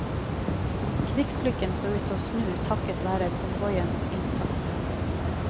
Krigslykken så ut til å snu takket være konvoiens innsats.